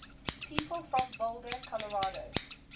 people from boulder colorado